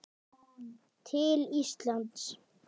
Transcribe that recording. til Íslands?